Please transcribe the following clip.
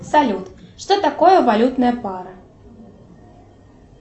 салют что такое валютная пара